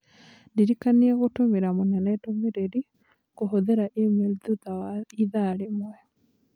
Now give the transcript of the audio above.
Ndirikania gũtũmĩra mũnene ndũmĩrĩri kũhũthĩra e-mail thutha wa ithaa rĩmwe.